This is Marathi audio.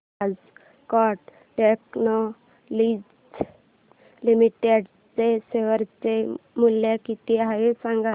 आज कॅट टेक्नोलॉजीज लिमिटेड चे शेअर चे मूल्य किती आहे सांगा